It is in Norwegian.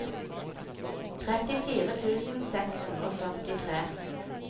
trettifire tusen seks hundre og førtitre